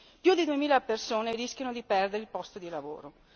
Più di duemila persone rischiano di perdere i posti di lavoro.